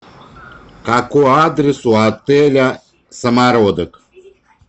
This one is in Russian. какой адрес у отеля самородок